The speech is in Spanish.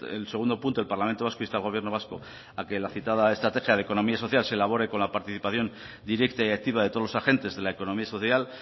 el segundo punto el parlamento vasco insta al gobierno vasco a que la citada estrategia de economía social se elabore con la participación directa y activa de todos los agentes de la economía social